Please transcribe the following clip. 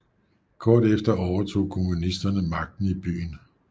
Kort efter overtog kommunisterne magten i byen